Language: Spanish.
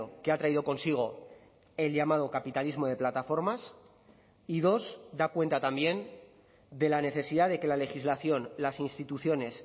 que ha traído consigo el llamado capitalismo de plataformas y dos da cuenta también de la necesidad de que la legislación las instituciones